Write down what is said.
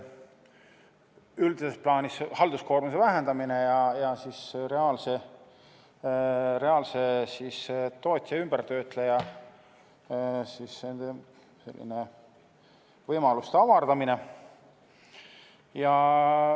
Üldises plaanis on see halduskoormuse vähenemine ja reaalse tootja, ümbertöötleja võimaluste avardamine.